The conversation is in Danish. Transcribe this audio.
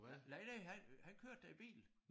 Nej nej nej han han han kørte da i bil